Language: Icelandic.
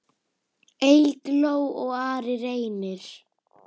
Eygló og Ari Reynir.